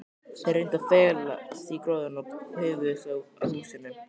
Þeir reyndu að felast í gróðrinum og paufuðust að húsinu.